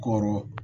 Koro